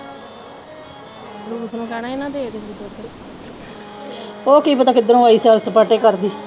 ਉਹ ਕੀ ਪਤਾ ਕਿਧਰੋਂ ਆਈ ਸੈਰ-ਸਪਾਟੇ ਕਰਦੀ।